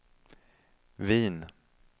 Wien